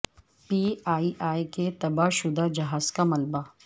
P I A کے تباہ شدہ جہاز کا ملبہ